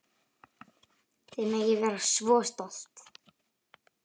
Þið megið vera svo stolt.